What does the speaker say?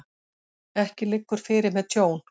Ekki liggur fyrir með tjón